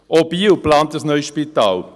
Auch Biel plant ein neues Spital.